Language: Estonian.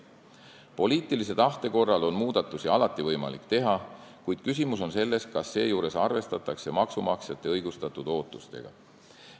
Poliitilise tahte korral on muudatusi alati võimalik teha, kuid küsimus on selles, kas seejuures arvestatakse maksumaksjate õigustatud ootusega.